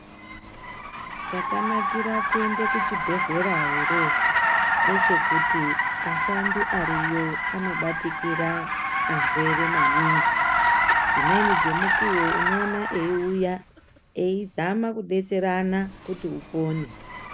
Chakanakira kuende kuchibhehlera ere ngechekuti ashandise ariyo anobatikira arwere maningi, dzimweni dzemukuwo unoona euya eizama kudetserana kuti upone.